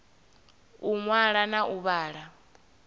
u ṅwala na u vhala